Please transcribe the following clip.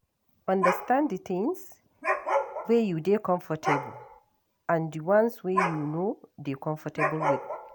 Understand di things wey you dey comfortable and di ones wey you no dey comfortable with